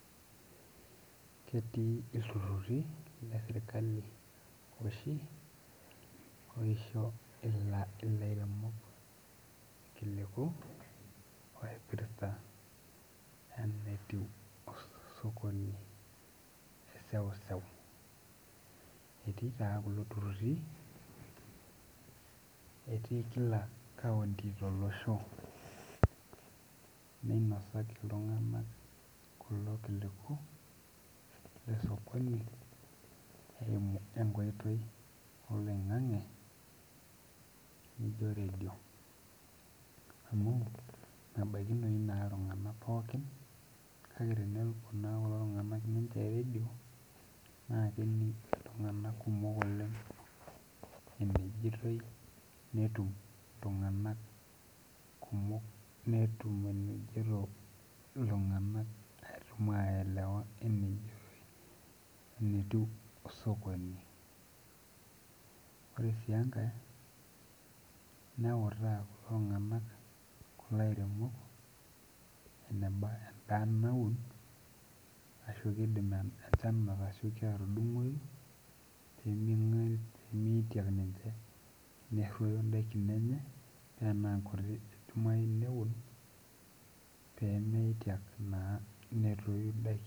Ketii ltururi leserkali oshi oisho laremok rkiliku oipirta enetiu osokoni teseuseu etii taa kulo tiruri etii kila kaunty tolosho ninasaki kulo tungani kulo kiliku losokoni eimu enkoitoi ormutandao nijo redio amu mebakinoi na i ltunganak pookin na kening ltunganak kumok enejitoi netum ltunganak netum ashomo aelelewa enetiu osokoni ore su enkae neutaa ltunganak laremok enebaa endaa natuuno ashu kidim enchan aeu atudungoi nemeitiki minche pemeroyo ndakini enye.